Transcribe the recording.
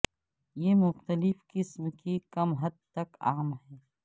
یہ مختلف قسم کے کم حد تک عام ہیں